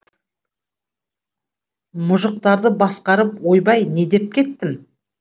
мұжықтарды басқарып ойбай не деп кеттім